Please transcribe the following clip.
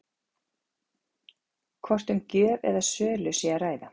Hvort um gjöf eða sölu sé að ræða?